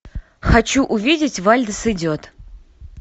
хочу увидеть вальдес идет